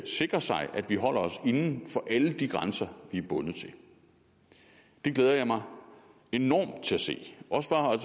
sikrer sig at vi holder os inden for alle de grænser vi er bundet af det glæder jeg mig enormt til at se også bare